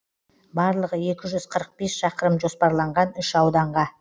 барлығы екі жүз қырық бес шақырым жоспарланған үш ауданға